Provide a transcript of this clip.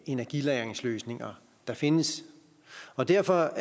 energilagringsløsninger der findes derfor